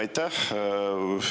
Aitäh!